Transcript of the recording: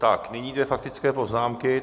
Tak nyní dvě faktické poznámky.